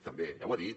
també ja ho ha dit